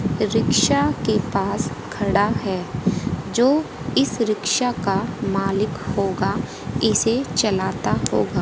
Rickshaw के पास खड़ा है जो इस रिक्शा का मालिक होगा इसे चलता होगा।